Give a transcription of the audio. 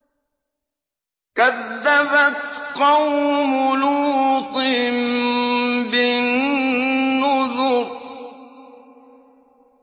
كَذَّبَتْ قَوْمُ لُوطٍ بِالنُّذُرِ